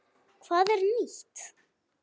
Hvað er nýtt?